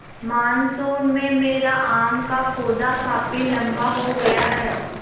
monsoon में मेरा आम का पौधा काफी लम्बा हो गया है